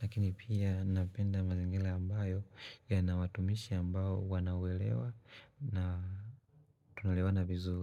Lakini pia napenda mazingila ambayo yana watumishi ambao wanaoelewa na tunaelewana vizu.